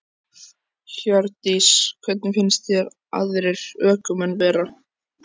Hjördís: Hvernig finnst þér aðrir ökumenn vera?